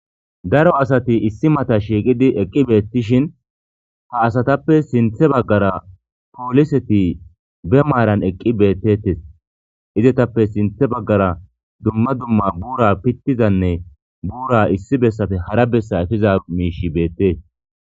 Daro asati issi mata shiiqidi eqqi beettishin ha asatappe sinthe baggara pooliseti be maaran eqqi beettettes izetappe sinthe baggara dumma dumma buura pittizanne buura issi bessafe hara bessa efiza miishi beettees.